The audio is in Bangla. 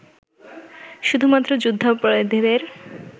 শুধুমাত্র যুদ্ধাপরাধীদের